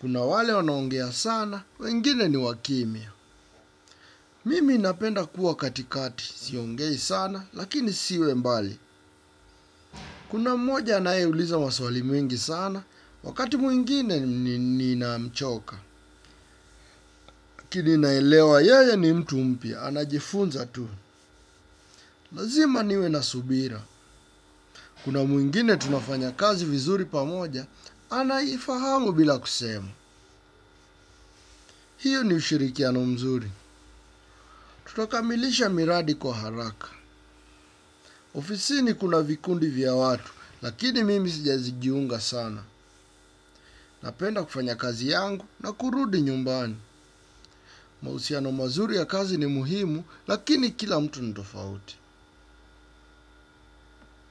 Kuna wale wanaongea sana, wengine ni wakimya. Mimi napenda kuwa katikati, siongei sana, lakini siwe mbali. Kuna mmoja anayeuliza maswali mengi sana, wakati mwingine nina mchoka. Lakini naelewa yeye ni mtu mpya, anajifunza tu. Lazima niwe na subira. Kuna mwingine tunafanya kazi vizuri pamoja, anayifahamu bila kusema. Hiyo ni ushirikiano mzuri. Tutakamilisha miradi kwa haraka. Ofisini kuna vikundi vya watu, lakini mimi sija jiunga sana. Napenda kufanya kazi yangu na kurudi nyumbani. Mahusiano mazuri ya kazi ni muhimu, lakini kila mtu ni tofauti.